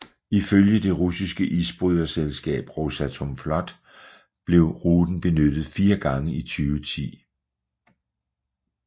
Ifølge det russiske isbryderselskab Rosatomflot blev ruten benyttet fire gange i 2010